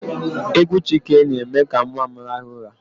Égwú Chike na-eme ka nwa m raha ụra.